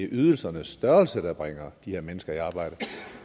ydelsernes størrelse der bringer de her mennesker i arbejde